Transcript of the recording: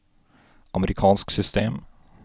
amerikansk system